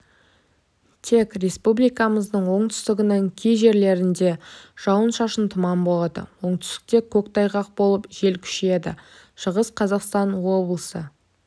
тек республикамыздың оңтүстігінің кей жерлерінде жауын-шашын тұман болады оңтүстікте көктайғақ болып жел күшейеді шығыс қазақстан облысы